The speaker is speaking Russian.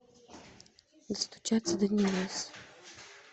достучаться до небес